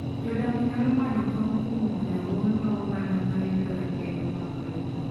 Jodak nyalo manyo kony kuom riwruoge mag oganda ma rito ratiro mag lope.